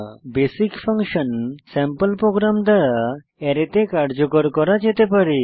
basic function sample program দ্বারা অ্যারেতে কার্যকর করা যেতে পারে